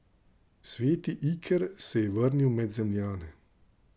Sveti Iker se je vrnil med Zemljane.